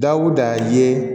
Dawuda ye